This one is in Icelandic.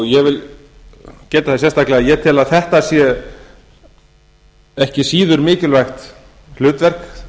ég vil geta þess sérstaklega að ég tel að þetta sé ekki síður mikilvægt hlutverk